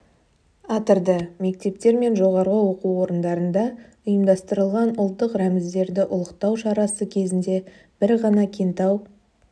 атырды мектептер мен жоғарғы оқу орындарында ұйымдастырылған ұлттық рәміздерімізді ұлықтау шарасы кезінде бір ғана кентау